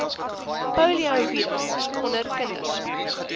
poliovirus onder kinders